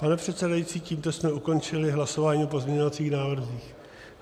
Pane předsedající, tímto jsme ukončili hlasování o pozměňovacích návrzích.